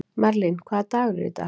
Merlin, hvaða dagur er í dag?